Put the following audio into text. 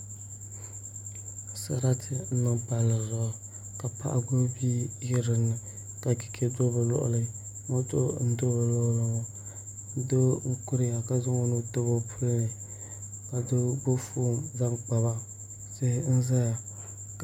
Sarati n niŋ palli zuɣu ka paɣa gbubi bia ʒɛ dinni ka chɛchɛ do bi luɣuli moto n do bi luɣuli ni ŋo doo n kuriya ka zaŋ o nuu tabi o puli ka doo gbubi foon zaŋ kpaba tihi n ʒɛya